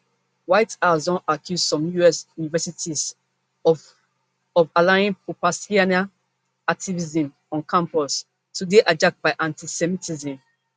white house don accuse some us universities of of allowing propalestinian activism on campus to dey hijacked by antisemitism